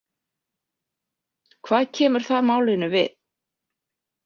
Hvað kemur það málinu við?